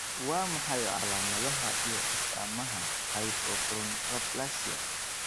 Waa maxay calaamadaha iyo astaamaha Hypochondroplasia?